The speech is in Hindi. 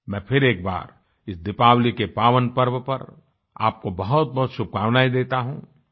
मैं फिर एक बार इस दीपावली के पावन पर्व पर आपको बहुतबहुत शुभकामनाएं देता हूँ